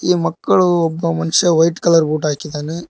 ಒಂದು ಮಕ್ಕಳು ಒಬ್ಬ ಮನುಷ್ಯ ವೈಟ್ ಕಲರ್ ಬೂಟ್ ಹಾಕಿದ್ದಾನೆ.